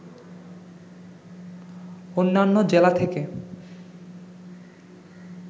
অন্যান্য জেলা থেকে